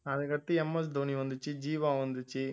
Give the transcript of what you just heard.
அதுக்கடுத்து MS தோனி வந்துச்சு ஜீவா வந்துச்சு